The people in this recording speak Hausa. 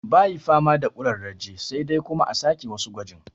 Bayi fama da ƙurarraje sai dai kuma a sake wasu gwaji